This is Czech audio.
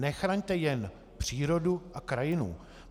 Nechraňte jen přírodu a krajinu.